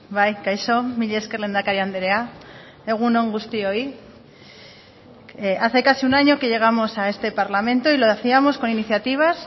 bai kaixo mila esker lehendakari andrea egun on guztioi hace casi un año que llegamos a este parlamento y lo hacíamos con iniciativas